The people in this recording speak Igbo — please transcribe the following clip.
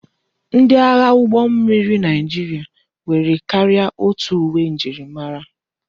Ndi agha ụgbọ mmiri Naijiria nwere karịa otu uwe njirimara,